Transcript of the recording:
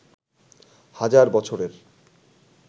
হাজার বছরের